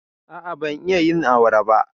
A'a, ban iya yin awara ba.